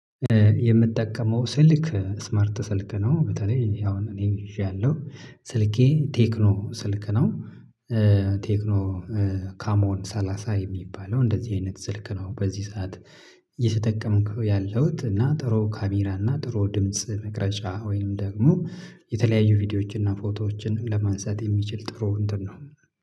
የምጠቀመው ስልክ ስማርት ስልክ ነው። በተለይ አሁን እኔ እይዣለሁ ስልኬ ቴክኖ ስልክ ነው። ቴክኖ ካሞን ሰላሳ የሚባለው እንደዚህ አይነት ስልክ ነው። በዚህ ሰዓት እየተጠቀምኩ ያለሁት እና ጥሩ ካሜራ እና ጥሩ ድምጽ መቅረጫ ወይም ደግሞ የተለያዩ ቪዲዮዎችን እና ፎቶዎችን ለማንሳት የሚችል ጥሩ እንትን ነው።